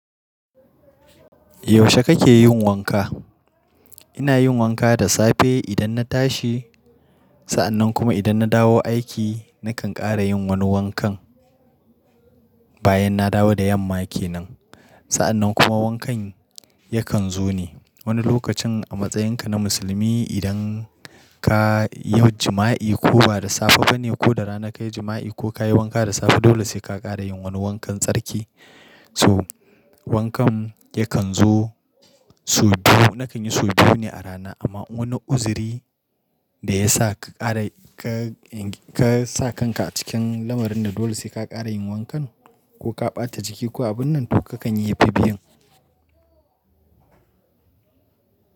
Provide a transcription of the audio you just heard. Yaushe kake yin wanka? Ina yin wanka da safe idan na tashi, sa'annan kuma idan na dawo aiki na kan ƙara yin wani wankan bayan na dawo da yamma ke nan. Sa'annan kuma wankan yakan zo ne, wani lokacin a matsayinka na musulmi idan ka yau juma'i ko ba da safe bane ko da rana ka yi juma'i ko ka yi wanka da safe dole sai ka ƙara yin wani wankan tsarki. So wankan yakan zo sau biyu. Na kan yi sau biyu ne a rana amma wani uziri da ya sa ka ƙara ka, ka sa kanka cikin lamarin da dole sai ka ƙara yin wankan ko ka ɓata jiki ko abun nan to ka kan yi yafi biyun.